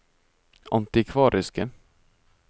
antikvariske